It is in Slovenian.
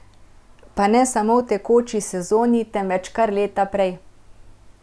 Pa ne samo v tekoči sezoni, temveč kar leta prej.